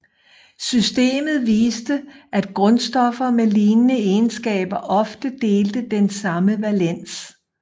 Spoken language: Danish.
Systemet viste at grundstoffer med lignende egenskaber ofte delte den samme valens